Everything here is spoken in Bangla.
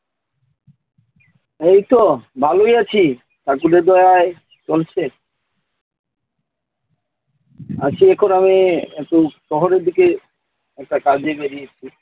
এই তো, ভালোই আছি। ঠাকুরের দয়ায় চলছে। আচ্ছা, এখন আমি একটু শহরের দিকে একটা কাজে বেরিয়েছি।